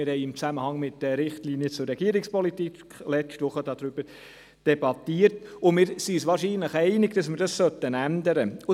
Wir haben letzte Woche im Zusammenhang mit den Richtlinien zur Regierungspolitik darüber debattiert, und sind uns wahrscheinlich einig, dass wir dies ändern sollten.